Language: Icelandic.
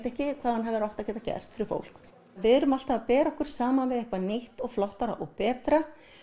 ekki hvað hann hefur átt að geta gert fyrir fólk við erum alltaf að bera okkur saman við eitthvað nýtt flottara og betra